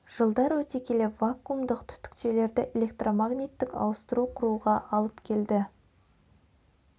жылдар өте келе вакуумдық түтікшелерді электромагниттік ауыстыру құруға алып келді